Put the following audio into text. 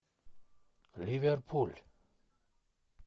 ливерпуль